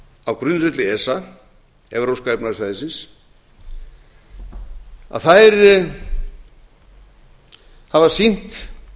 á grundvelli esa evrópska efnahagssvæðisins að þær hafa sýnt